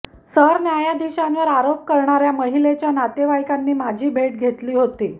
सरन्यायाधीशांवर आरोप करणाऱया माहिलेच्या नातेवाईकांनी माझी भेट घेतली होती